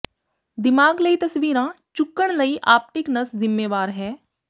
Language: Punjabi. ਦਿਮਾਗ ਲਈ ਤਸਵੀਰਾਂ ਚੁੱਕਣ ਲਈ ਆਪਟਿਕ ਨਸ ਜ਼ਿੰਮੇਵਾਰ ਹੈ